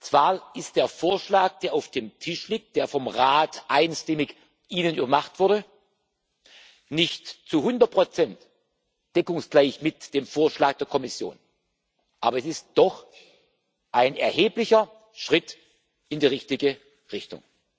Zwar ist der Vorschlag, der auf dem Tisch liegt, der Ihnen vom Rat einstimmig gemacht wurde, nicht zu hundert Prozent deckungsgleich mit dem Vorschlag der Kommission, aber es ist doch ein erheblicher Schritt in die richtige Richtung.